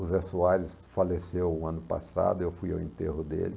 O Zé Soares faleceu no ano passado, eu fui ao enterro dele.